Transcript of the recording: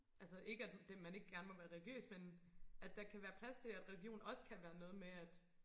altså ikke at man ikke gerne må være religiøs men at der kan være plads til at religion også kan være noget med at